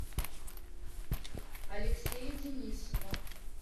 алексея денисова